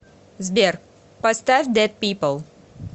сбер поставь дэд пипл